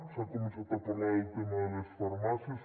s’ha començat a parlar del tema de les farmàcies